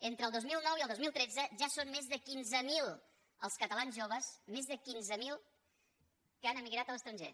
entre el dos mil nou i el dos mil tretze ja són més de quinze mil els catalans joves més de quinze mil que han emigrat a l’estranger